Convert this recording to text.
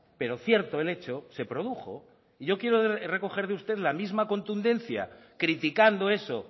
pero cierto el hecho se produjo y yo quiero recoger de usted la misma contundencia criticando eso